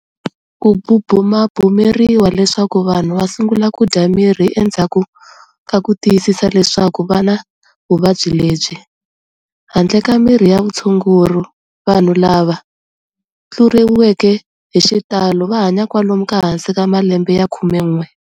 Kububumabumeriwa leswaku vanhu va sungula kudya mirhi endzhaku ka ku tiyisisa leswaku vana vuvabyi lebyi. Handle ka mirhi ya vutshunguri, vanhu lava tluleriweke hixitalo vahanya kwalomu ka hansi ka malembe ya khumen'we.